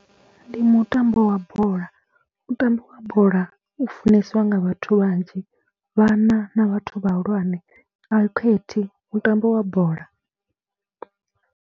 Ndi mutambo wa bola, mutambo wa bola u funesiwa nga vhathu vhanzhi, vhana na vhathu vhahulwane a u khethi, mutambo wa bola.